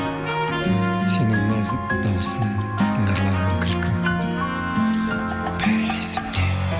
сенің нәзік дауысың сыңғырлаған күлкің бәрі есімде